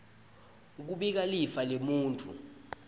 kubika lifa lemuntfu